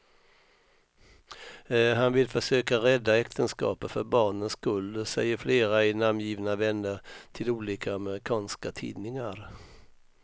Han vill försöka rädda äktenskapet för barnens skull, säger flera ej namngivna vänner till olika amerikanska tidningar.